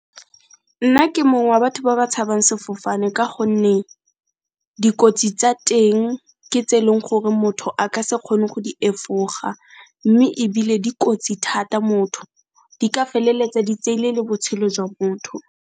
Nna ke mong wa batho ba ba tshabang sefofane ka gonne dikotsi tsa teng ke tse e leng gore motho a ka se kgone go di efoga, mme ebile dikotsi thata motho, di ka feleletsa di tseile le botshelo jwa motho.